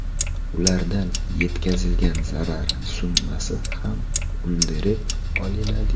Ulardan yetkazilgan zarar summasi ham undirib olinadi.